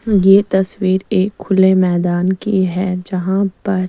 ये तस्वीर एक खुले मैदान की है जहा पर--